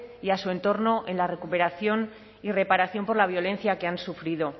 y a su entorno en la recuperación y reparación por la violencia que han sufrido